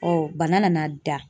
bana nana da.